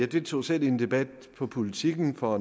deltog selv i en debat på politiken for